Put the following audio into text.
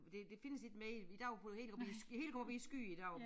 Det det findes ikke mere i dag går det hele op i det hele går op i æ sky i dag